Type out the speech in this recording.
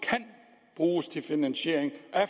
bruges til finansiering af